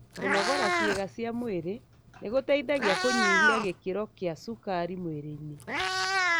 Kũnogora cĩiga cia mwĩrĩ nĩgũteithagia kũnyihia gĩkiro kĩa cukari mwĩrĩinĩ.